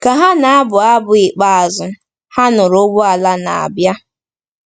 Ka ha na-abụ abụ ikpeazụ, ha nụrụ ụgbọala na-abịa.